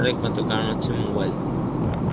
কারণ হচ্ছে mobile.